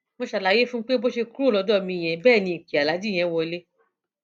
mo ṣàlàyé fún un pé bó ṣe kúrò lọdọ mi yẹn bẹẹ ni ìpè aláàjì yẹn wọlẹ